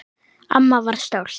Amma var stolt.